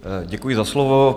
Děkuji za slovo.